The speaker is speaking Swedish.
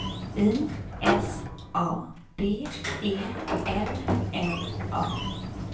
I S A B E L L A